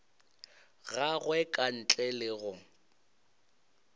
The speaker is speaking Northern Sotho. gagwe ka ntle le go